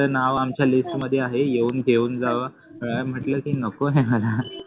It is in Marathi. तुमचं नाव आमच्या लेख मध्ये आहे तुम्ही येऊन घेऊन जावा म्हटलं की नको आहे मला